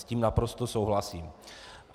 S tím naprosto souhlasím.